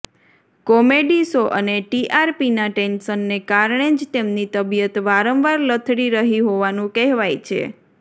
comedy show અને ટીઆરપીના ટેન્શનને કારણે જ તેમની તબિયત વારંવાર લથડી રહી હોવાનું કહેવાય છે